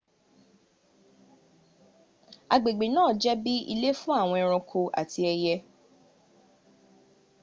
agbègbè náà jẹ́ bí ilé fún àwọn ẹranko àti ẹye